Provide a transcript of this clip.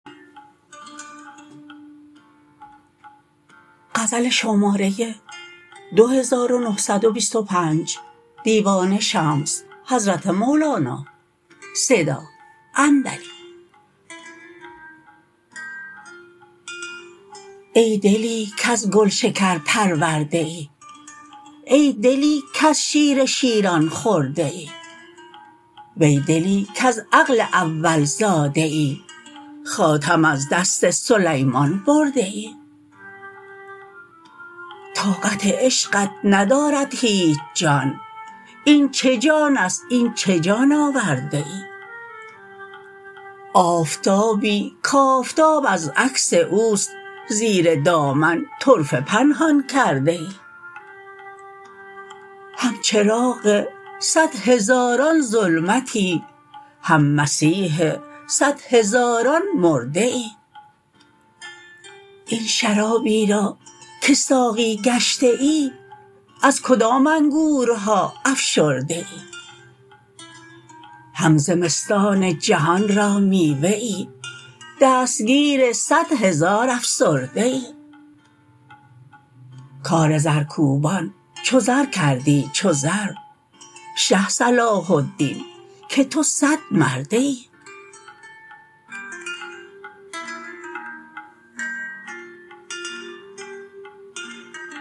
ای دلی کز گلشکر پرورده ای ای دلی کز شیر شیران خورده ای وی دلی کز عقل اول زاده ای حاتم از دست سلیمان برده ای طاقت عشقت ندارد هیچ جان این چه جان است این چه جان آورده ای آفتابی کآفتاب از عکس او است زیر دامن طرفه پنهان کرده ای هم چراغ صد هزاران ظلمتی هم مسیح صد هزاران مرده ای این شرابی را که ساقی گشته ای از کدام انگورها افشرده ای هم زمستان جهان را میوه ای دستگیر صد هزار افسرده ای کار زرکوبان چو زر کردی چو زر شه صلاح الدین که تو صدمرده ای